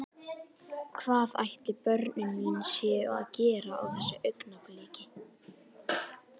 Hvað ætli börnin mín séu að gera á þessu augnabliki?